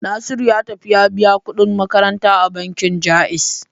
Nasiru ya tafi ya biya kuɗin makaranta a bankin Ja'iz.